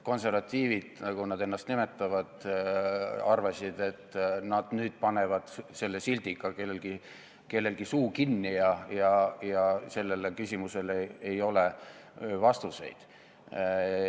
Konservatiivid, nagu nad ennast nimetavad, arvasid, et nad panevad selle sildiga kellelgi suu kinni ja sellele küsimusele ei ole vastuseid.